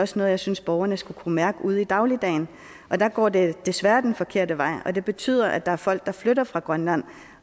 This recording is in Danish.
som jeg synes borgerne skal kunne mærke ude i dagligdagen men der går det desværre den forkerte vej og det betyder at der er folk der flytter fra grønland